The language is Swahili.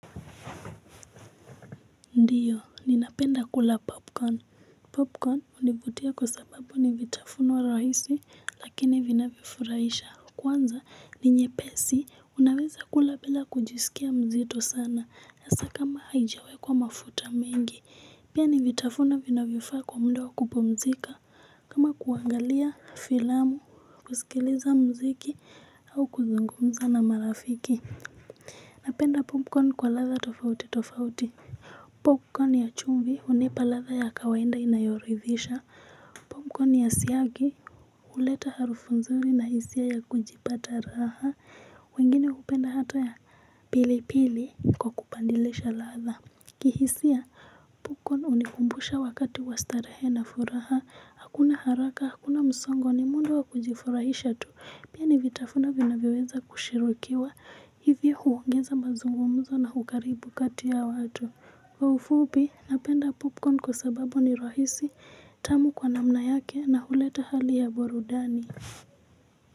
Ndiyo ninapenda kula popcorn popcorn hunivutia kwa sababu ni vitafuno rahisi lakini vinavifurahisha kwanza ni nyepesi unaweza kula bila kujisikia mzito sana hasa kama haijiawekwa mafuta mengi pia ni vitafuno vinavyofaa kwa mda wa kupumzika kama kuangalia filamu kusikiliza mziki au kuzungumza na marafiki napenda popcorn kwa ladha tofauti tofauti popcorn ya chumvi hunipa ladha ya kawaida inayoridhisha popcorn ya siagi huleta harufu nzurii na hisia ya kujipata raha wengine hupenda hata ya pili pili kwa kupadilisha ladha kihisia popcorn hunikumbusha wakati wa starehe na furaha hakuna haraka hakuna msongo ni muundo wa kujifurahisha tu pia ni vitafuno vinavyoweza kushirikiwa hivi huongeza mazungumzo na ukaribu kati ya watu. Kwa ufupi napenda popcorn kwa sababu ni rahisi tamu kwa namna yake na huleta hali ya burudani.